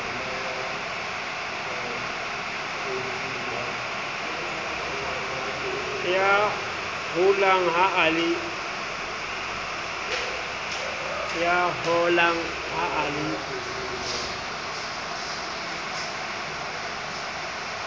ya holang ha a le